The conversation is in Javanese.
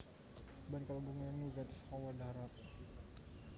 Ban kalebu bagéyan wigati saka wahana dahrat